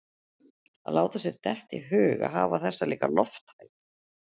Að láta sér detta í hug að hafa þessa líka lofthæð